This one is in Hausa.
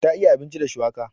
Ta iya abinci da shuwaka.